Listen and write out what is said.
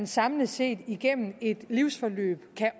samlet set igennem et livsforløb kan